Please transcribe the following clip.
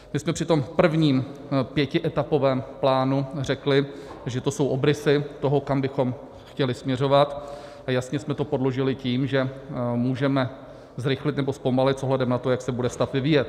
My jsme při tom prvním pětietapovém plánu řekli, že to jsou obrysy toho, kam bychom chtěli směřovat, a jasně jsme to podložili tím, že můžeme zrychlit nebo zpomalit s ohledem na to, jak se bude stav vyvíjet.